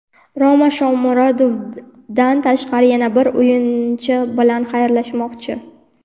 "Roma" Shomurodovdan tashqari yana bir o‘yinchi bilan xayrlashmoqchi.